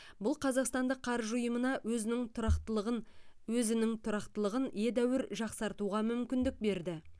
бұл қазақстандық қаржы ұйымына өзінің тұрақтылығын өзінің тұрақтылығын едәуір жақсартуға мүмкіндік берді